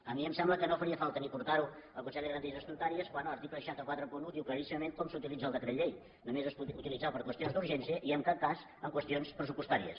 a mi em sembla que no faria falta ni portar ho al consell de garanties estatutàries quan l’article sis cents i quaranta un diu claríssimament com s’utilitza el decret llei només es pot utilitzar per qüestions d’urgència i en cap cas en qüestions pressupostàries